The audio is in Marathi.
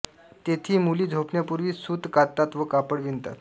तेथी मुली झोपण्यापूर्वी सूत काततात व कापड विणतात